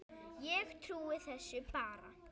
Ég trúi þessu bara.